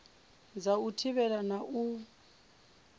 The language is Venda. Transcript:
dza u thivhela na u